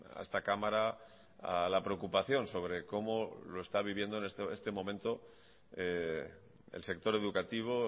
a esta cámara a la preocupación sobre como lo está viviendo en este momento el sector educativo